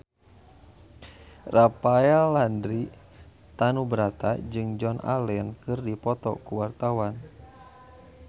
Rafael Landry Tanubrata jeung Joan Allen keur dipoto ku wartawan